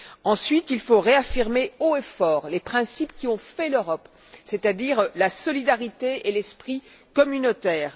Ensuite, il faut réaffirmer haut et fort les principes qui ont fait l'Europe, c'est à dire la solidarité et l'esprit communautaire.